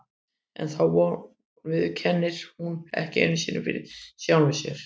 En þá von viðurkennir hún ekki einu sinni fyrir sjálfri sér.